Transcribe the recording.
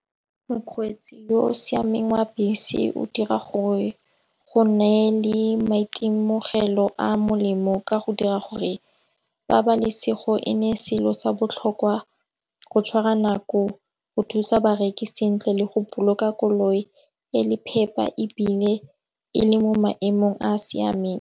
Mokgweetsi yo o siameng wa bese o dira gore go nne le maitemogelo a molemo. Ka go dira gore pabalesego e ne selo sa botlhokwa go tshwara nako go thusa bareki sentle le go boloka koloi e le phepa ebile e le mo maemong a a siameng.